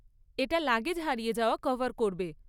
এটা লাগেজ হারিয়ে যাওয়া কভার করবে।